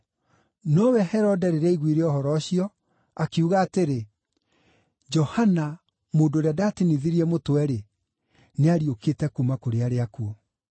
Nowe Herode rĩrĩa aiguire ũhoro ũcio, akiuga atĩrĩ, “Johana, mũndũ ũrĩa ndaatinithirie mũtwe-rĩ, nĩariũkĩte kuuma kũrĩ arĩa akuũ!”